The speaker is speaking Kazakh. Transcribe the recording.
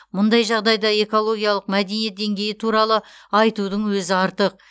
мұндай жағдайда экологиялық мәдениет деңгейі туралы айтудың өзі артық